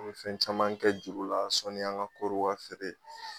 An be fɛn caman kɛ juru la sɔnni an ka kɔɔriw ka feere